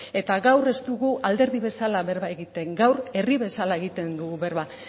eta gaur ez dugu alderdi bezala berba egiten gaur herri bezala egiten dugu berba